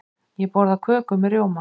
Ég borða köku með rjóma.